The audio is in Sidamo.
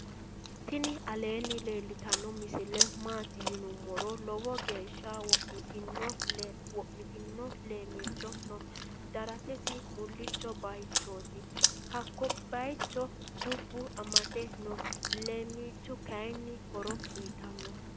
tini alenni laltano misile mati yinumoro lowo gesha wo'mitino leemicho noo. daratisi mulicho bayichoti. hako bayichino dubo amate noo. leemicho kayini horo uyitanote.